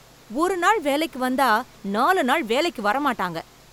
ஒரு நாள் வேலைக்கு வந்தா நாலு நாள் வேலைக்கு வர மாட்டாங்க